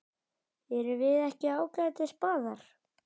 Erum við ekki ágætis spaðar?